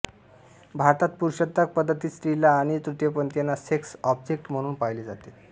भारतात पुरुषसत्ताक पद्धतीत स्त्रीला आणि तृतीयपंथीयांना सेक्स ऑब्जेक्ट म्हणून पाहिले जाते